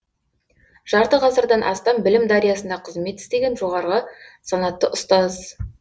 жарты ғасырдан астам білім дариясында қызмет істеген жоғарғы санатты ұстаз